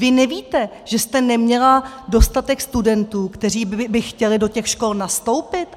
Vy nevíte, že jste neměla dostatek studentů, kteří by chtěli do těch škol nastoupit?